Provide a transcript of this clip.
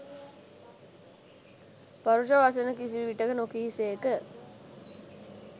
පරුෂ වචන කිසි විටෙක නො කී සේක.